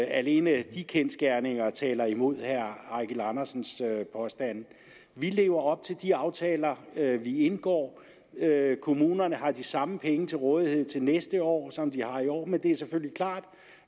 alene de kendsgerninger taler imod herre eigil andersens påstande vi lever op til de aftaler vi indgår kommunerne har de samme penge til rådighed til næste år som de har i år men det er selvfølgelig klart